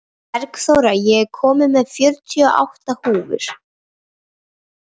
Bergþóra, ég kom með fjörutíu og átta húfur!